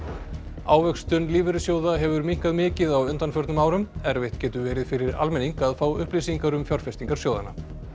ávöxtun lífeyrissjóða hefur minnkað mikið á undanförnum árum erfitt getur verið fyrir almenning að fá upplýsingar um fjárfestingar sjóðanna